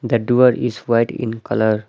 The duar is white in colour .